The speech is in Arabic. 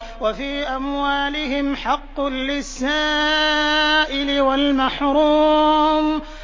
وَفِي أَمْوَالِهِمْ حَقٌّ لِّلسَّائِلِ وَالْمَحْرُومِ